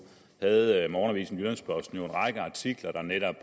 havde morgenavisen jyllands posten en række artikler der netop